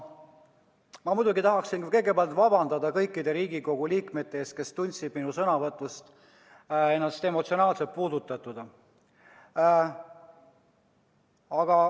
Ma muidugi tahaksin kõigepealt vabandada kõikide Riigikogu liikmete ees, kes tundsid minu sõnavõtust ennast emotsionaalselt puudutatuna.